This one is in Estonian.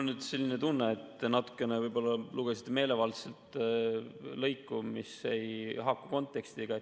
Mul on selline tunne, et te võib-olla natuke meelevaldselt lugesite lõiku, mis ei haaku kontekstiga.